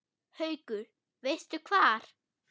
Haukur: Veistu hvar?